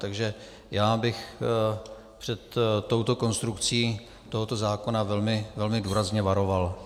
Takže já bych před touto konstrukcí tohoto zákona velmi důrazně varoval.